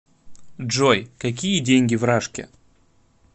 джой какие деньги в рашке